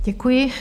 Děkuji.